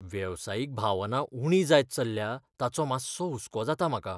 वेवसायीक भावना उणी जायत चल्ल्या ताचो मातसो हुसको जाता म्हाका.